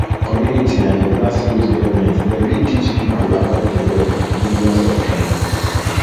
commumity na di grass root government dem fit teach pipo about di law and di dangers of crime